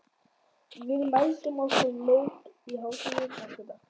Við mæltum okkur mót á hádegi næsta dag.